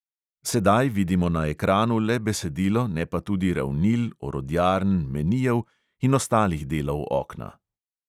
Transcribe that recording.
Sedaj vidimo na ekranu le besedilo, ne pa tudi ravnil, orodjarn, menijev in ostalih delov okna.